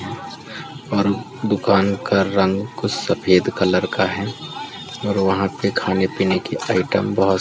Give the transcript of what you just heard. दुकान का रंग कुछ सफेद कलर का है और वहाँ पे खाने पीने के आइटम बहुत सारे रखे हुए --